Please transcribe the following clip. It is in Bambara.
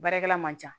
Baarakɛla man ca